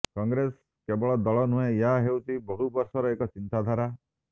କଂଗ୍ରେସ କେବଳ ଦଳ ନୁହେଁ ଏହା ହେଉଛି ବହୁବର୍ଷର ଏକ ଚିନ୍ତାଧାରା